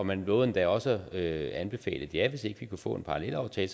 man lovede endda også at anbefale et ja hvis ikke vi kunne få en parallelaftale